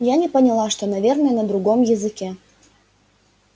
я не поняла что наверное на другом языке